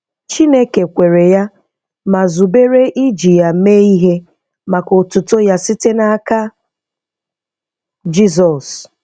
Chineke kwere ya ma zubere iji ya mee ihe maka otuto Ya site n’aka Jizọs.